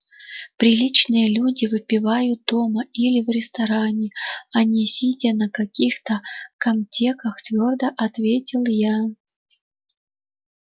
приличные люди выпивают дома или в ресторане а не сидя на каких-то камтеках твёрдо ответила я